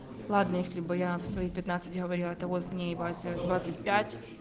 ладно если бы я в свои пятнадцать говорила это вот мне ебать двадцать пять